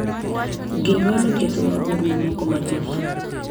Ginyuolo ketho mag mbui mamoko mathoth.